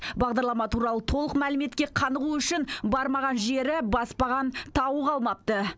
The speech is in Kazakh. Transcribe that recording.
бағдарлама туралы толық мәліметке қанығу үшін бармаған жері баспаған тауы қалмапты